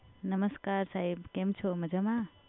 નમસ્કાર સાહેબ કેમ છો? મજામા?